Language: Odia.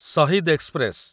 ଶହୀଦ ଏକ୍ସପ୍ରେସ